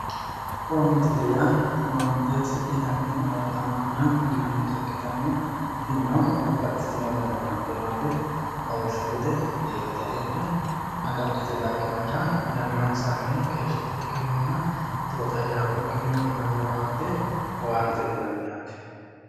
Owaantetee yaa owaante hasidhe daggino owaatamaanora uyiinnannita ikkitanna tinino babbaxxiteyo dani owaante no yaate lawishshu gede biirote hee'ne agadhite dagginorira yannansannii keeshshitukkiinninna tootayyaabbukkinni uyinanni owaate owaantete yinanni yaate